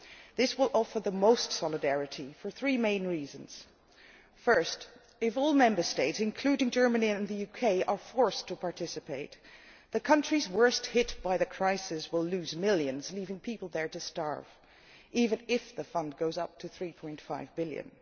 This will provide the highest level of solidarity for three main reasons firstly, if all Member States, including Germany and the UK, are forced to participate, the countries worst hit by the crisis will lose millions, leaving people there to starve even if the fund goes up to EUR 3.5 billion.